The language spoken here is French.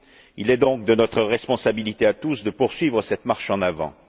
Il est donc de notre responsabilité à tous de poursuivre cette marche en avant.